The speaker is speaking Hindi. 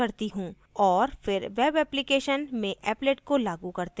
और फिर web application में applet को लागू करते हैं